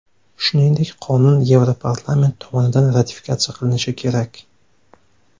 Shuningdek, qonun Yevroparlament tomonidan ratifikatsiya qilinishi kerak.